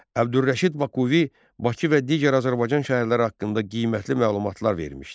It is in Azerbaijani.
Əbdürrəşid Bakuvi Bakı və digər Azərbaycan şəhərləri haqqında qiymətli məlumatlar vermişdi.